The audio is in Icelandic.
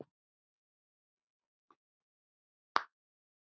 Við gleymum því alltaf